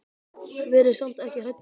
Verið samt ekki hrædd um mig.